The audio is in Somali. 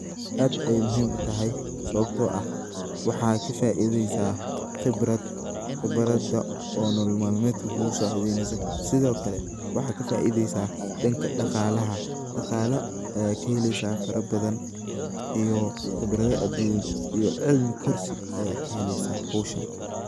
aad ayey muhiim u tahay sababto ah waxaa ka faideysa khibrad khibrada oo nolal maalmeedka kugu saacideyneyso sidokale waxaa ka faideysa danka daqaalaha. Daqaala ayaa kaheleysa fara badan iyo khibrada aduun iyo cilmi korsi ayaad kaheleysa howshan.